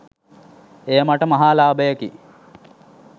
එය මට මහා ලාභයකි